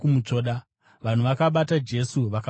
Vanhu vakabata Jesu vakamusunga.